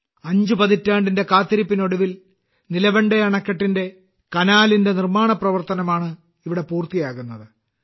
അഞ്ചു പതിറ്റാണ്ടിന്റെ കാത്തിരിപ്പിനൊടുവിൽ നിലവണ്ടെ അണക്കെട്ടിന്റെ കനാലിന്റെ നിർമ്മാണ പ്രവർത്തനമാണ് ഇവിടെ പൂർത്തിയാകുന്നത്